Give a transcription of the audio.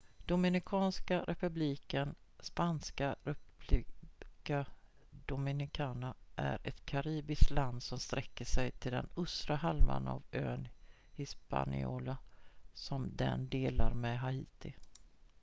dominikanska republiken spanska: república dominicana är ett karibiskt land som sträcker sig till den östra halvan av ön hispaniola som den delar med haiti